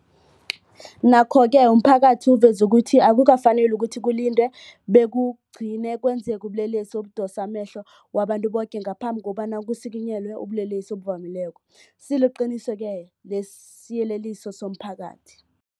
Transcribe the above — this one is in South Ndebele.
Nokho-ke umphakathi uveze ukuthi akukafaneli ukuthi kulindwe bekugcine kwenzeke ubulelesi obudosa amehlo wabantu boke ngaphambi kobana kusikinyelwe ubulelesi obuvamileko, siliqiniso-ke lesisiyeleliso somphakathi.